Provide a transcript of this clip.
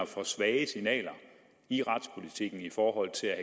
for svage signaler i retspolitikken i forhold til at